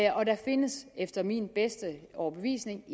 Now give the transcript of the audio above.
og der findes efter min bedste overbevisning